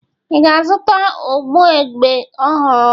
Ị ga-azụta ugbogbe ọhụrụ?